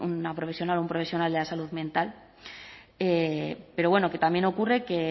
una profesional un profesional de la salud mental pero bueno que también ocurre que